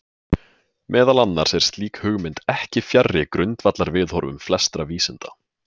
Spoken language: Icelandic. Meðal annars er slík hugmynd ekki fjarri grundvallarviðhorfum flestra vísinda.